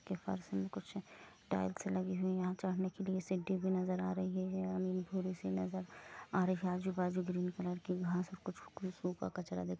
फर्श में कुछ टाइल्स लगी है यहाँ चढ़ने के लिए सीढ़ी भी नजर आ रही है यह भूरी सी नजर आ रही है आजू बाजू ग्रीन कलर की घास और को-कुछ सूखा कचरा दिख--